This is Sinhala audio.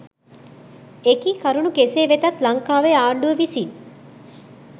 එකී කරුණු කෙසේ වෙතත් ලංකාවේ ආණ්ඩුව විසින්